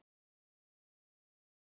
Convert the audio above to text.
Vá, hvað hún er flott!